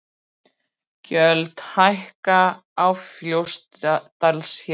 Gjöld hækka á Fljótsdalshéraði